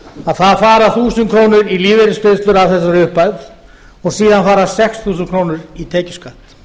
að það fara þúsund krónur í lífeyrisgreiðslur af þessari upphæð og síðan fara sex þúsund krónur í tekjuskatt